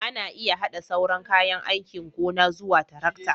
Ana iya haɗa sauran kayan aikin gona zuwa tarakta